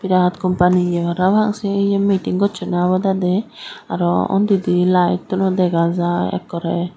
birat kompany ye parapang se ye miting gossoney obodey de aro undi di layetuno dega jai ekkoreu.